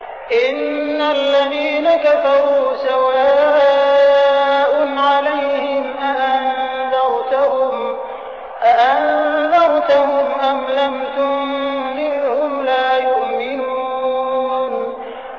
إِنَّ الَّذِينَ كَفَرُوا سَوَاءٌ عَلَيْهِمْ أَأَنذَرْتَهُمْ أَمْ لَمْ تُنذِرْهُمْ لَا يُؤْمِنُونَ